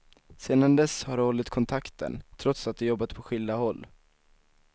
Sedan dess har de hållit kontakten, trots att de jobbat på skilda håll.